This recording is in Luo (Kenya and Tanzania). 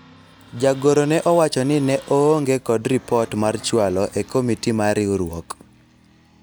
jagoro ne owacho ni ne oonge kod ripot mar chwalo e komiti mar riwruok